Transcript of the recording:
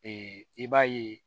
i b'a ye